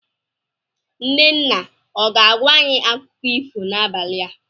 Nne nne ọ ga-agwa anyị akụkọ ifo n'abalị a?